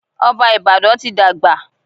Ọba Ìbàdàn ti dàgbà.